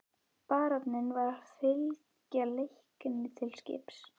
Baróninn var að fylgja Leikni til skips.